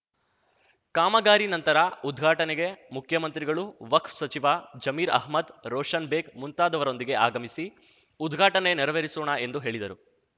ಕಾಮಗಾರಿ ನಂತರ ಉದ್ಘಾಟನೆಗೆ ಮುಖ್ಯಮಂತ್ರಿಗಳು ವಕ್ಫ್ ಸಚಿವ ಜಮೀರ್‌ ಅಹ್ಮದ್‌ ರೋಷನ್‌ ಬೇಗ್‌ ಮುಂತಾದವರೊಂದಿಗೆ ಆಗಮಿಸಿ ಉದ್ಘಾಟನೆ ನೆರವೇರಿಸೋಣ ಎಂದು ಹೇಳಿದರು